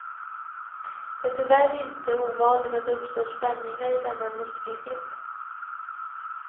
Det är tyvärr inte ovanligt att det uppstår spänningar i denna muskelgrupp.